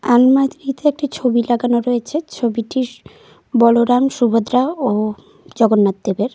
আলমারিটিতে একটি ছবি লাগানো রয়েছে। ছবিটি বলরাম সুভদ্রা ও জগন্নাথ দেবের।